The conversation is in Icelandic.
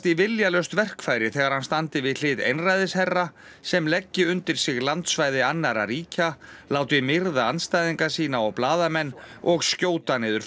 í viljalaust verkfæri þegar hann standi við hlið einræðisherra sem leggi undir sig landsvæði annarra ríkja láti myrða andstæðinga sína og blaðamenn og skjóta niður